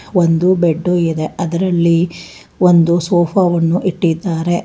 ಒಂದು ಬೆಡ್ಡು ಇದೆ ಅದರಲ್ಲಿ ಒಂದು ಸೋಫಾ ವನ್ನು ಇಟ್ಟಿದ್ದಾರೆ.